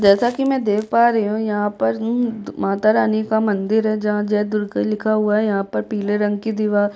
जैसा कि मैं देख पा रही हूँ यहाँ पर उम्म मातारानी का मंदिर है जहाँ जय दुर्गे लिखा हुआ है यहाँ पर पीले रंग की दीवार --